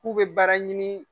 K'u bɛ baara ɲini.